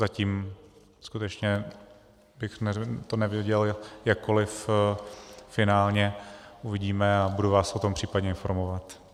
Zatím skutečně bych to neviděl jakkoliv finálně, uvidíme, a budu vás o tom případně informovat.